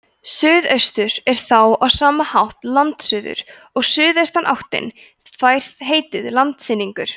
suðaustur er þá á sama hátt landsuður og suðaustanáttin fær heitið landsynningur